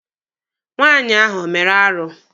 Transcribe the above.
Nwaanyị ahụ o mere arụ?